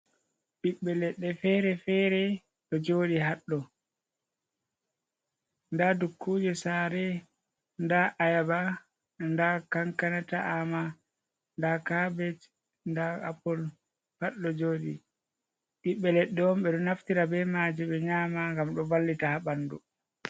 Ɓibbe leɗɗe fere fere ɗo jooɗi haɗɗo, nda dukkuje sare, nda ayaba nda kankana ta'ama nda kabesh nda apul pat ɗo jooɗi, ɓiɓɓe leɗɗe ɓeɗo naftira bei majum ɓeɗo nyama ngam ɗo vallita ha ɓandu.